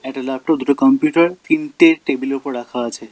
একটা ল্যাপটপ দুটা কম্পিউটার তিনটে টেবিল -এর উপর রাখা আছে।